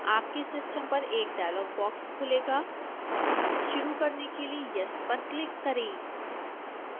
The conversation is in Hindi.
आपके सिस्टम पर एक डायलॉग बॉक्स खुलेगा शुरू करने के लिए yes पर क्लिक करें